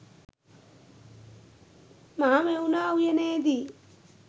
Mahamevna උයනේදී